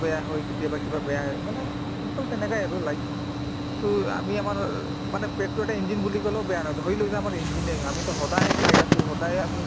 বেয়া হয় কেতিয়াবা কিবা বেয়া হয় মানে simple তেনেকে আৰু to আমি আমাৰ মানে পেটতো এটা engine বুলি কলেও বেয়া নহয় ধৰি লৈছো আমাৰ engine য়ে হয় আমিতো সদায় খাই আছো সদায়ে আমি